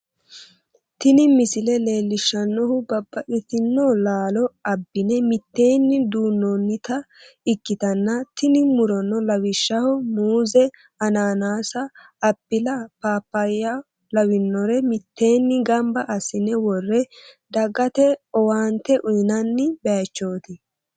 tini misile leellishshannohu babbaxxitino laalo abbi'ne mitteenni duunnoonnita ikkitanna, tini murono lawishshaho, muuze, anaanase, appile, pappayyao lawinore mitteenni gamba assi'ne worre dagate owaante uynanni bayichooti.